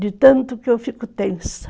De tanto que eu fico tensa.